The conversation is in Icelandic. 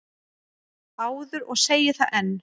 áður og segi það enn.